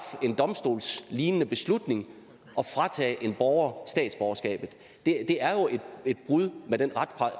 en domstolslignende beslutning og fratage en borger statsborgerskabet det er jo et brud med den